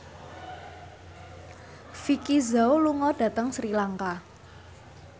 Vicki Zao lunga dhateng Sri Lanka